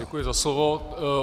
Děkuji za slovo.